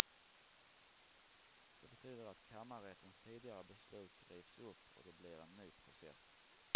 Det betyder att kammarrättens tidigare beslut rivs upp och det blir en ny process.